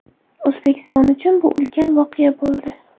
O‘zbekiston uchun bu ulkan voqea bo‘ldi.